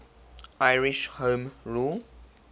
irish home rule